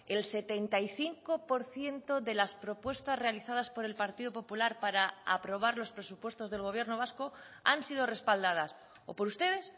el setenta y cinco por ciento de las propuestas realizadas por el partido popular para aprobar los presupuestos del gobierno vasco han sido respaldadas o por ustedes